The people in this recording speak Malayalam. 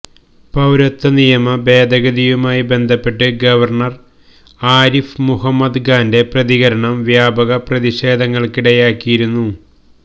പൌരത്വ നിയമ ഭേദഗതിയുമായി ബന്ധപ്പെട്ട് ഗവർണർ ആരിഫ് മുഹമ്മദ് ഖാന്റെ പ്രതികരണം വ്യാപക പ്രതിഷേധങ്ങൾക്കിടയാക്കിയിരുന്നു